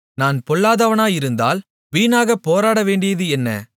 நான் பொல்லாதவனாயிருந்தால் வீணாகப் போராடவேண்டியது என்ன